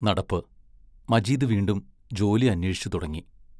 നടപ്പ് മജീദ് വീണ്ടും ജോലി അന്വേഷിച്ചുതുടങ്ങി.